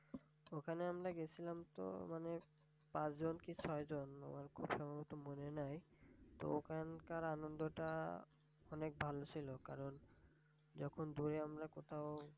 ওখানে আমরা গেছিলাম তো মানে পাঁচ জন কি ছয় জন মানে আমার এত মনে নাই। তো ওখানকার আমি আনন্দটা অনেক ভালো ছিল। কারণ যখন দূরে আমরা কোথাও